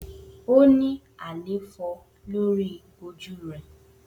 O ni àléfọ lori oju rẹ.